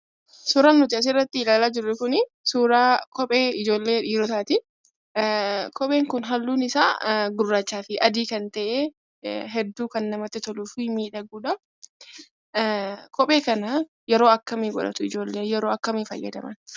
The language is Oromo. Suuraaan nuti as irratti ilaalaa jirru kuni suuraa kophee ijoollee dhiirotaati. Kopheen kun halluun isaa gurraachaa fi adii kan ta'e hedduu kan namtti toluu fi miidhagudha. Kophee kana yeroo akkamii godhatu ijoolleen? Yero akkamii fayyadaman?